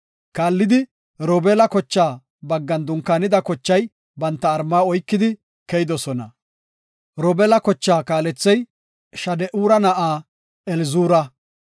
Kaallidi Robeela kochaa baggan dunkaanida kochay banta mala oykide keyidosona. Robeela kochaa kaalethey Shade7ura na7aa Elizuura.